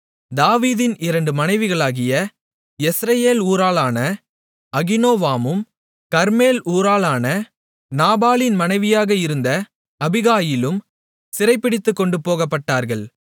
தாவீதின் இரண்டு மனைவிகளாகிய யெஸ்ரயேல் ஊராளான அகினோவாமும் கர்மேல் ஊராளான நாபாலின் மனைவியாக இருந்த அபிகாயிலும் சிறைபிடித்துக்கொண்டுபோகப்பட்டார்கள்